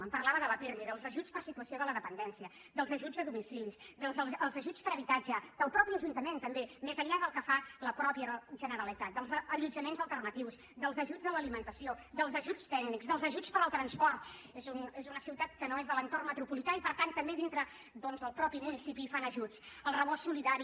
em parlava de la pirmi dels ajuts per situació de la dependència dels ajuts a domicili dels ajuts per habitatge del mateix ajuntament també més enllà del que fa la mateixa generalitat dels allotjaments alternatius dels ajuts a l’alimentació dels ajuts tècnics dels ajuts per al transport és una ciutat que no és de l’entorn metropolità i per tant també dintre del mateix municipi fan ajuts el rebost solidari